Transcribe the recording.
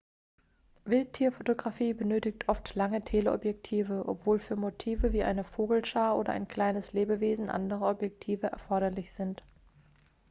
wildtierfotografie benötigt oft lange teleobjektive obwohl für motive wie eine vogelschar oder ein kleines lebewesen andere objektive erforderlich sind